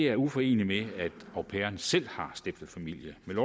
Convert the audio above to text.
er uforeneligt med at au pairen selv har stiftet familie med